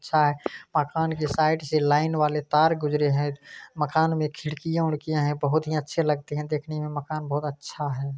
--अच्छा है मकान के साइड ये लाइन वाले तार गुजरे है मकान में एक खिड़कियां-खिड़कियां है बहुत जी अच्छी लगती है दिखने में माकन बहुत अच्छा है।